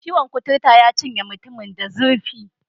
Ciwon' kuturun ya cinye mutumin da zurfi.